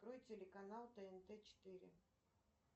открой телеканал тнт четыре